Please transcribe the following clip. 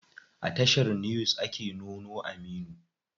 A tashar news ake nuno Aminu.